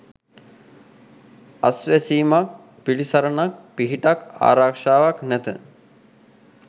අස්වැසීමක් පිළිසරණක් පිහිටක් ආරක්‍ෂාවක් නැත.